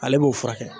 Ale b'o furakɛ